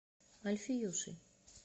альфиюшей